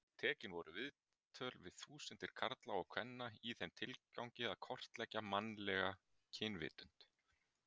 Tekin voru viðtöl við þúsundir karla og kvenna í þeim tilgangi að kortleggja mannlega kynvitund.